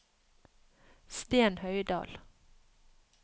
Sten Høydal